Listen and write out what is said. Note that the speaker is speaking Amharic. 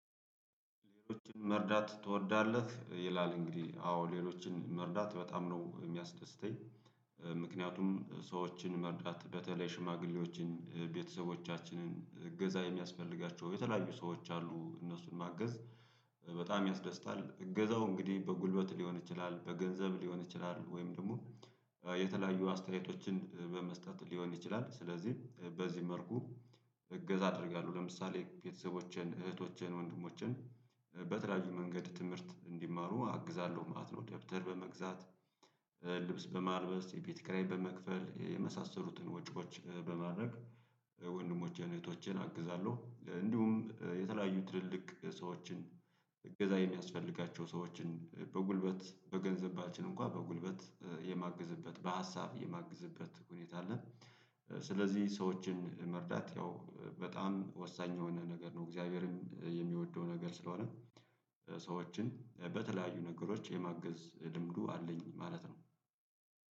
መርዳት ትወዳለህ ይላል እንግዲህ አዎ ሌሎችን መርዳት በጣም ነው የሚያስደስተኝ። ምክንያቱም ሰዎችን መርዳት በተለይ ሽማግሌዎችን ቤተሰቦቻችንን እገዛ የሚያስፈልጋቸው የተለያዩ ሰዎች አሉ እነሱን ማገዝ በጣም ያስደስታል። እገዛው እንግዲህ በጉልበት ሊሆን ይችላል በገንዘብ ሊሆን ይችላል ወይም ደግሞ የተለያዩ አስተያየቶችን በመስጠት ሊሆን ይችላል። ስለዚህ በዚህ መልኩ እገዛ አደርጋለሁ። ለምሳሌ ቤተሰቦችን እህቶችን ወንድሞችን በተለያዩ መንገድ ትምህርት እንዲማሩ አግዛለሁ ማለት ነው። ደብተር በመግዛት ልብስ በማልበስ የቤት ክራይ በመክፈል የመሳሰሉትን ወጪዎች በማድረግ ወንድሞቸን እህቶቸን አግዛለሁ። እንዲሁም የተለያዩ ትልልቅ ሰዎችን እገዛ የሚያስፈልጋቸው ሰዎችን በጉልበት በገንዘባችን እንኳን በጉልበት የማግዝበት በሀሳብ የማግዝበት ሁኔታ አለ። ስለዚህ ሰዎችን መርዳት ያው በጣም ወሳኝ የሆነ ነገር ነው። እግዚአብሔርም የሚወደው ነገር ስለሆነ ሰዎችን በተለያዩ ነገሮች የማገዝ ልምዱ አለኝ ማለት ነው።